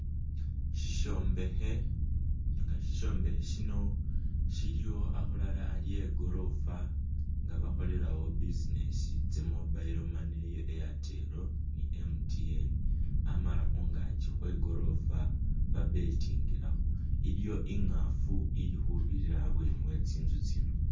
Sisyombekhe, nga Sisyombekhe shino shili akhulala e gorofa nga bakholelawo business tsa mobile money iya airtel ni MTN amala khungaaki ba betingilakho, iliwo i'ngaafu ili khubirira abweeni we tsinzu tsino.